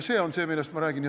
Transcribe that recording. See on see, millest ma räägin.